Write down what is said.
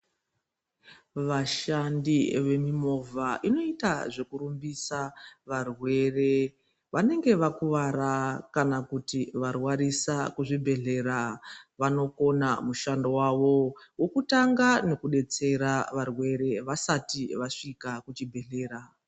Vashandi vemimovha inoita zvekurumbisa varwere vanenge vakuvara kana kuti varwarisa kuzvibhedhleya. Vanokona mushando vavo vokutanga nokubetsera varwere vasati vasvika kuchibhedhlera.